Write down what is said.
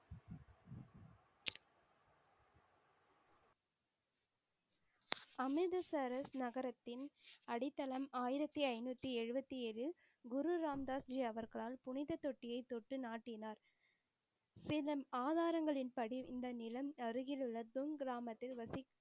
அமிர்தசரஸ் நகரத்தின்அடித்தளம் ஆயிரத்தி ஐந்நூத்தி எழுபத்தி ஏழில் குரு ராமதாஸ் ஜி அவர்களால் புனிதத் தொட்டியை தொட்டு நாட்டினார். பின்னர் ஆதாரங்களின் படி இந்த நிலம் அருகிலுள்ள தொல் கிராமத்தில் வசி